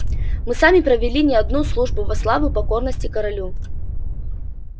мы сами провели не одну службу во славу покорности королю